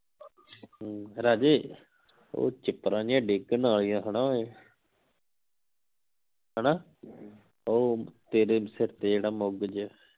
ਰਾਜੇ ਉਹ ਚਿਪਰਾਂ ਜੀਆਂ ਡੇਗਣ ਆਲਿਆਂ ਹਣਾ ਓਏ ਹਣਾ ਉਹ ਤੇਰੇ ਸਿਰ ਤੇ ਜਿਹੜਾ ਮੁਗ ਜਿਹੇ